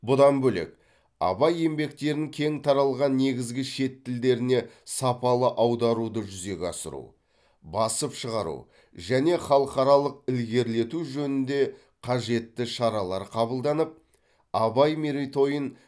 бұдан бөлек абай еңбектерін кең таралған негізгі шет тілдеріне сапалы аударуды жүзеге асыру басып шығару және халықаралық ілгерілету жөнінде қажетті шаралар қабылданып абай мерейтойын